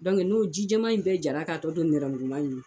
n'o ji jaman in bɛɛ jara k'a tɔ to nɛrɛmuguma in ye